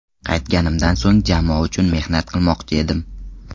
Qaytganimdan so‘ng jamoa uchun mehnat qilmoqchi edim.